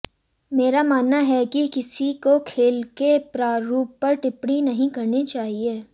मेरा मानना है कि किसी को खेल के प्रारूप पर टिप्पणी नहीं करनी चाहिए